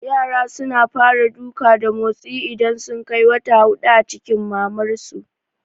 Yara suna fara duka da motsi idan sun kai wata hudu a cikin mamar su